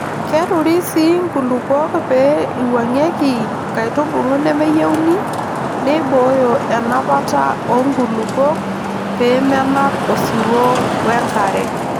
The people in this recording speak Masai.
Keturi sii nkulupuok pee eiwuang'eki nkaitubulu nemeyieuni neibooyo enapata oo nkulupuok pee menap osiwuo we nkare.